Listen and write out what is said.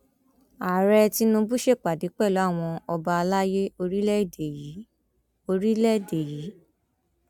ààrẹ tinubu ṣèpàdé pẹlú àwọn ọba àlàyé orílẹèdè yìí orílẹèdè yìí